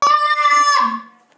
Verður það hægt?